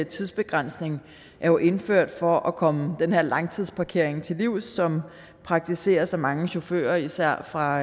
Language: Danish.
tidsbegrænsning er jo indført for at komme den her langtidsparkering til livs som praktiseres af mange chauffører især fra